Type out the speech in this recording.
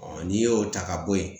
n'i y'o ta ka bɔ yen